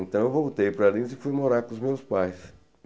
Então eu voltei para Lins e fui morar com os meus pais.